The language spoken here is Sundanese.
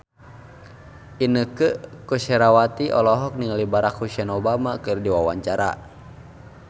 Inneke Koesherawati olohok ningali Barack Hussein Obama keur diwawancara